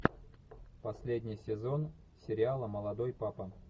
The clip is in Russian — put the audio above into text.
последний сезон сериала молодой папа